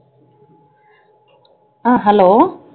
அஹ் hello